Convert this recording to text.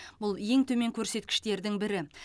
бұл ең төмен көрсеткіштердің бірі